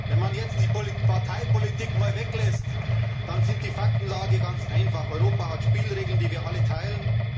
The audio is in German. Wenn man jetzt die Parteipolitik einmal weglässt, dann ist die Faktenlage ganz einfach Europa hat Spielregeln, die wir alle teilen.